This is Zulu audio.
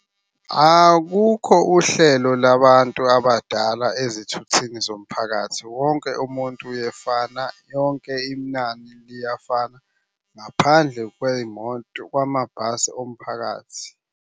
Akukho uhlelo labantu abadala ezithutheni zomphakathi, wonke umuntu uyefana, lonke inani liyafana. Ngaphandle kwey'moto kwamabhasi omphakathi.